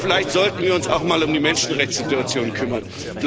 Aber vielleicht sollten wir uns auch mal um die Menschenrechtssituation kümmern.